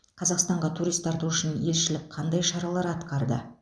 қазақстанға турист тарту үшін елшілік қандай шаралар атқарды